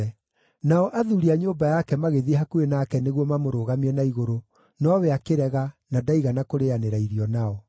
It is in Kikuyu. Nao athuuri a nyũmba yake magĩthiĩ hakuhĩ nake nĩguo mamũrũgamie na igũrũ nowe akĩrega, na ndaigana kũrĩanĩra irio nao.